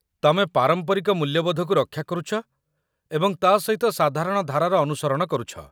ତମେ ପାରମ୍ପରିକ ମୂଲ୍ୟବୋଧକୁ ରକ୍ଷା କରୁଛ ଏବଂ ତା' ସହିତ ସାଧାରଣ ଧାରାର ଅନୁସରଣ କରୁଛ